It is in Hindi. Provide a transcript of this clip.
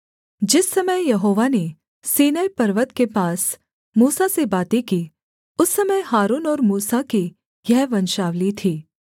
जिस समय यहोवा ने सीनै पर्वत के पास मूसा से बातें की उस समय हारून और मूसा की यह वंशावली थी